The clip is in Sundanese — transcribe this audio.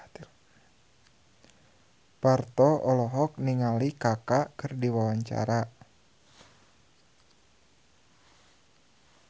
Parto olohok ningali Kaka keur diwawancara